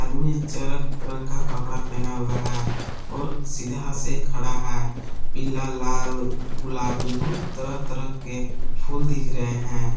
रंग का कपड़ा पहना हुआ है और सीधा से खड़ा है पीला लाल गुलाबी बहुत तरह तरह के फूल दिख रहे हैं।